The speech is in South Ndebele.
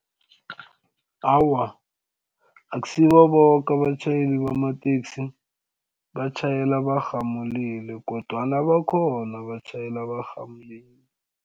Awa, akusibo boke abatjhayeli bamateksi abatjhayela barhamulile kodwana bakhona abatjhayela barhamulile.